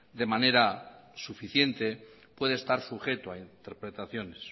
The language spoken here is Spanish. de manera suficiente puede estar sujeto a interpretaciones